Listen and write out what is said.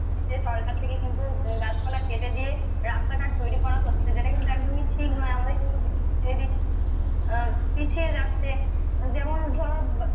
সরকার থেকে কিন্তু গাছপালা কেটে দিয়ে রাস্তাঘাট তৈরি করা হচ্ছে যেটা কিন্তু একদমই ঠিক নয় আমাদের কিন্তু পিছিয়ে রাখতে যেমন ধরো